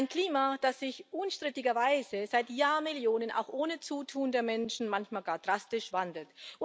Ein Klima, das sich unstrittigerweise seit Jahrmillionen auch ohne Zutun der Menschen manchmal gar drastisch wandelt.